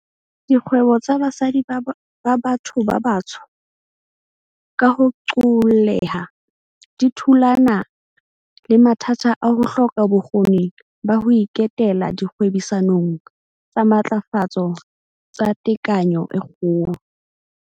Dikgwebo tsa basadi ba batho ba batsho, ka ho qoolleha, di thulana le mathata a ho hloka bokgoni ba ho iketela dikgwebisano tsa matlafatso tsa tekanyo e kgolo.